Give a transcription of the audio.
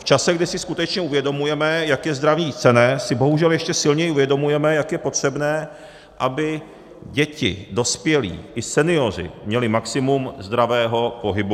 V čase, kdy si skutečně uvědomujeme, jak je zdraví cenné, si bohužel ještě silněji uvědomujeme, jak je potřebné, aby děti, dospělí i senioři měli maximum zdravého pohybu.